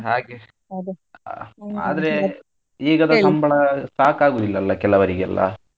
ಹಾಗೆ ಆದ್ರೆ ಈಗದ ಸಂಬಳ ಸಾಕಾಗುದಿಲ್ಲ ಅಲ್ಲ ಕೆಲವರಿಗೆಲ್ಲ.